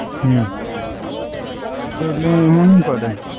હમ એટલે હુ કરે?